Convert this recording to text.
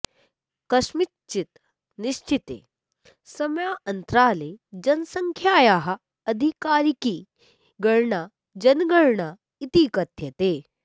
कस्मिंश्चित् निश्चिते समयान्तराले जनसङ्ख्यायाः आधिकारिकी गणना जनगणना इति कथ्यते